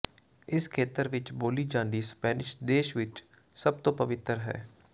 ਇਸ ਖੇਤਰ ਵਿੱਚ ਬੋਲੀ ਜਾਂਦੀ ਸਪੈਨਿਸ਼ ਦੇਸ਼ ਵਿੱਚ ਸਭ ਤੋਂ ਪਵਿੱਤਰ ਹੈ